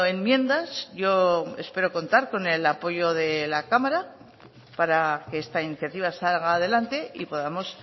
enmiendas yo espero contar con el apoyo de la cámara para que esta iniciativa salga adelante y podamos